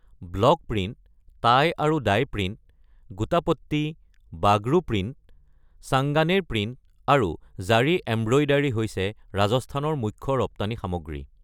Block print, tie আৰু dye print, gotapatti, Bagru print, Sanganer print, আৰু zari embroidery হৈছে ৰাজস্থানৰ মুখ্য ৰপ্তানি সামগ্ৰী।